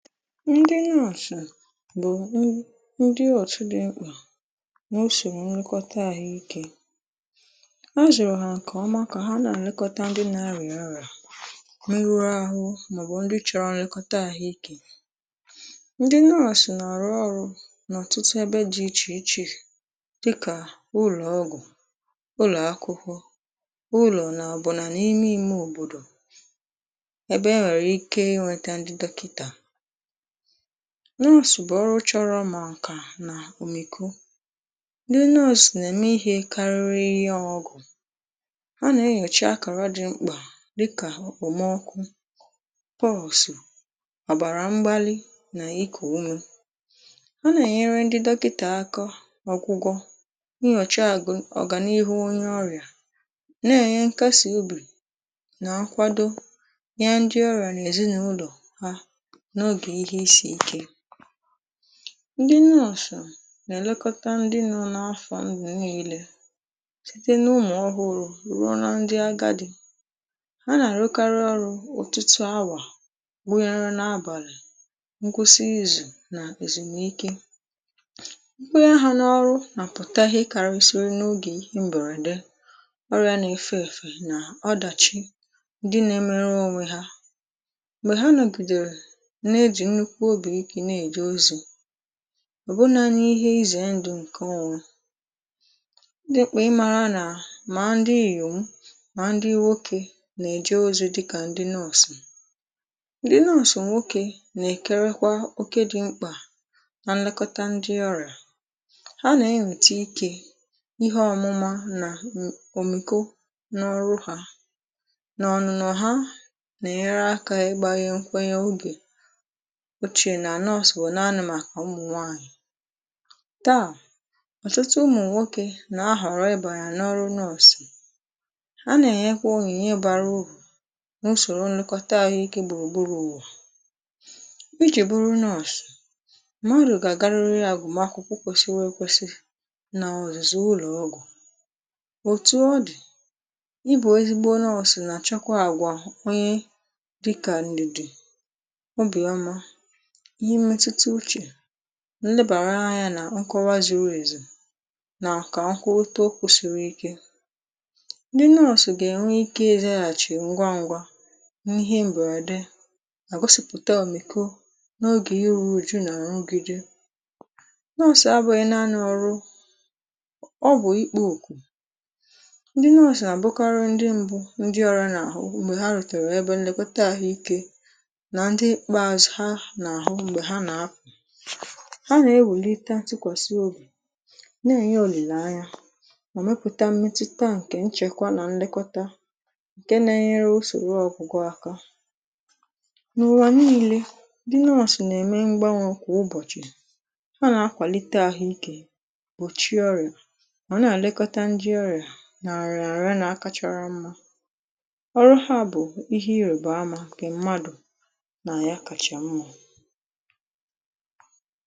ndị nurse bụ̀ ndị ọtụ dị nkpà na usoro nlekọta àhụ ikė. A zụrụ̀ ha nke ọma kà ha na-elekọta ndị na-arịa orìa, meruru ahụ̀, màọbụ̀ ndị chọrọ nlekọta àhụ ikė ndị nurse nọ̀rọ ọrụ n’ọ̀tụtụ ebe dị ichè ichè dịkà ụlọ̀ ọgwụ̀ ụlọ̀ akwụkwọ ụlọ̀ nà ọbọ̀nà n’ime ime òbòdò ebe e nwèrè ike inwėtȧ ndị dọkịtà nọsụ̀ bụ̀ ọrụ chọrọ mà ǹkà nà òmìkù dị nọsụ̀ nà-èmè ihe karịrị ịhe ọgụ̀ ha nà-enyòchi akàra dị mkpà dịkà okpomọkụ̇ poosu ọ̀bàrà mgbalị nà ịkụ̀ ume ha nà-ènyere ndị dọkịtà aka ọgwụgwọ̇ nyòchi àgụ̀ ọ̀gànihu onye ọrịà na-ènye nkasi obì na-nkwado ihe ndị ọrà nà èzinàụlọ̀ ha n'oge ihe isi ike ndị nọsụ̀ nà-èlekọta ndị nọ n’afọ̀ ǹdù nile site n’ụmụ̀ ọhụrụ̇ rụọ na ndị agadi ha nà-àrụkarị ọrụ̇ otụtụ awà bụ onye ruo n’abàlì nkwụsị izù nà èzùmìke onye ha n’ọrụ nàpụ̀tà ihe karisiri n’ogè ihe mbèrède ọrịȧ nà efe èfe nà ọdàchị ndị na-emerụ onwe ha mgbe ha nogidere n’eji nnukwu obi mwute n'eje ozi̇ ọ̀bụnȧnye ihe izè ndu̇ ṅ̀ke ọ̇gwọ̇ ndị ṁkpà ịmȧrȧ nà mà ndị ìyòwà mà ndị nwokė nà-èje ozi̇ dịkà ndị nọọ̇sụ̀ ndị nọọ̇sụ̀ nwokė nà-èkerekwa oke dị̇ mkpà nà nlekọta ndị ọrị̀à ha nà-enwète ikė ihe ọmụmȧ nà ǹ’òmìko n’ọrụ hȧ nọ̀nụ̀nọ̀ ha nà-ènyere akȧ ị gbaghị̇ nkwenye ogè uchè nà nurse bụ̀ n’ani màkà ụmụ̀nwaanyị̀ taa ọ̀tụtụ ụmụ̀nwokė nà-ahọ̀rọ ịbà ya n’ọrụ nurse a nà-enyekwa onyinye bara uru n’usòrò nlekọta ahụ̀ ike gbùrù gburù uwà ijì buru nurse mmàdụ̀ gà agarịrị agụ̀makwụkwọ kwesịri ėkwesị nà ọ̀zụ̀zụ̀ ụlọ̀ ọgwụ̀ òtù ọ dì ịbụ̇ ezigbo nurse nà-àchọkwa àgwà onye dịkà ndị̀dị̀ obì ọmȧ ihe mmetuta uchè nlebàra anyȧ nà nkọwa zuru èzì nàkwà akụ uto kwusiri ike ndị nọọ̀sụ̀ gà ènwe ike ịzaghàchì ngwa ngwa n’ihe mberede ma gosipụ̀ta òmìko n’ogè iru uju na nrugide nọọ̀sụ̀ abụghị̀ naanị̇ ọrụ ọ bụ̀ ikpo okù ndị nọọ̀sụ̀ nà àbụkari ndị mbụ ndị ọriȧ nà àhụ mgbe ha rùtèrè ebe nlèkota àhụike na ndi ikpeazu ha n'ahu mgbe ha n'apu ha nà-ewèlita tikwàsị obì na-ènye òlìlè anya ọ̀ mepụ̀ta mmetụta ǹkè nchèkwà nà nlekọta ǹke na-enyere usòrò ọ̀gwụgwọ aka nà ụ̀wà niilė di nọsụ̀ nà-ème mgbanwè kwà ụbọ̀chị̀ ha nà-akwàlite àhụ ikè gbòchi ọrịà ọ̀ na-àlekọta ndì ọrịà nà-àrịa àrịa nà-akachara mmȧ ọrụ ha bụ̀ ihe irèba amȧ nke mmadù na ya kacha mma.